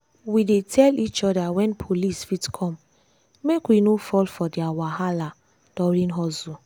we dey tell each other when police fit come make we no fall for their wahala during hustle.